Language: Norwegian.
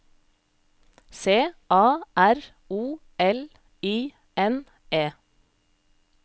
C A R O L I N E